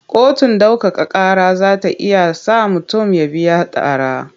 Kotun ɗaukaka ƙara za ta iya sa mutum ya biya tara.